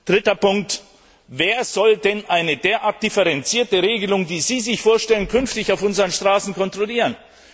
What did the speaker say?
Dritter Punkt Wer soll denn eine derart differenzierte Regelung, die Sie sich vorstellen, künftig auf unseren Straßen kontrollieren?